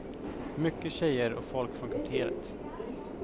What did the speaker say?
Mycket tjejer och folk från kvarteret.